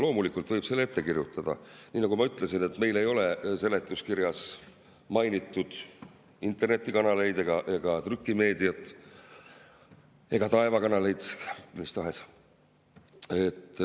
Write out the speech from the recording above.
Loomulikult võib selle ette kirjutada, nii nagu ma ütlesin, meil ei ole seletuskirjas mainitud internetikanaleid ega trükimeediat ega taevakanaleid, mida tahes.